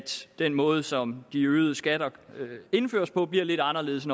den måde som de øgede skatter indføres på bliver lidt anderledes